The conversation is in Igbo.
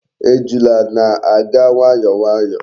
Ejula na-aga nwayo nwayo